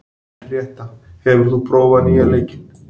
Henríetta, hefur þú prófað nýja leikinn?